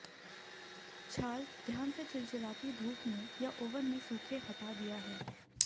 छाल ध्यान से चिलचिलाती धूप में या ओवन में सूखे हटा दिया है